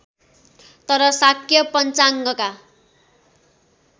तर शाक्य पञ्चाङ्गका